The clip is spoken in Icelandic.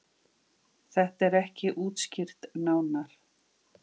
Þetta er ekki útskýrt nánar.